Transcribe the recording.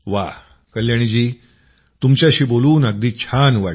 वा कल्याणी जी तुमच्याशी बोलून अगदी छान वाटलं